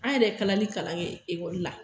An yɛrɛ ye kalanli kalan kɛ ekoli la